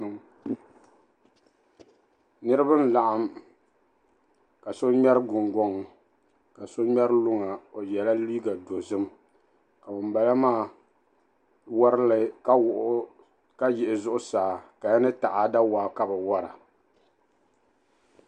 Niriba n-laɣim ka so ŋmɛri guŋgɔŋ ka so ŋmɛri luŋa o yɛla liiga dozim ka ŋumbala maa warigimi ka yiɣi zuɣusaa. Kaya ni taada waa ka bɛ wara.